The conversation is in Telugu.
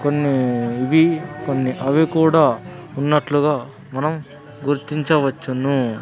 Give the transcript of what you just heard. కొన్ని ఇవి కొన్ని అవి కూడా ఉన్నట్లుగా మనం గుర్తించవచ్చును.